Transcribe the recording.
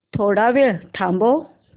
थोडा वेळ थांबव